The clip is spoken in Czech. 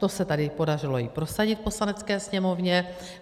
To se tady podařilo i prosadit v Poslanecké sněmovně.